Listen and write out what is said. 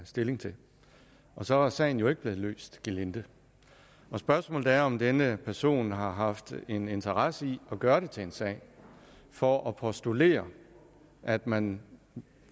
stilling til og så er sagen jo ikke blevet løst gelinde spørgsmålet er om denne person har haft en interesse i at gøre det til en sag for at postulere at man